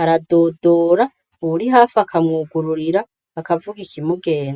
aradodora uwuri hafi akamwugururira akavuga ikimugenza.